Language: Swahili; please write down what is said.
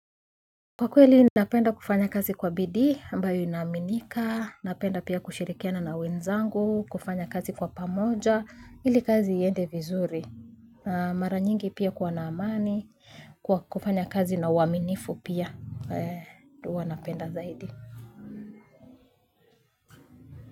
Kwa kweli napenda kufanya kazi kwa bidii ambayo inaaminika, napenda pia kushirikiana na wenzangu, kufanya kazi kwa pamoja, ili kazi iende vizuri, mara nyingi pia kwa na amani, kwa kufanya kazi na uaminifu pia, ndo huwa napenda zaidi.